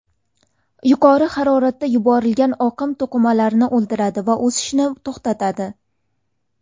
Yuqori haroratda yuborilgan oqim to‘qimalarni o‘ldiradi va o‘sishni to‘xtatadi.